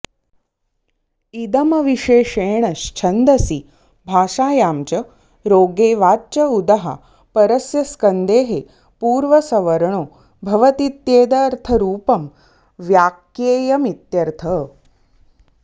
इदमविशेषेण च्छन्दसि भाषायां च रोगे वाच्य उदः परस्य स्कन्देः पूर्वसवर्णो भवतीत्येतदर्थरूपं व्याक्येयमित्यर्थः